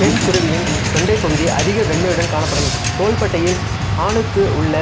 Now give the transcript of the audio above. பெண் குருவியின் தொண்டைப் பகுதி அதிக வெண்மையுடன் காணப்படும் தோள்பட்டையில் ஆணுக்கு உள்ள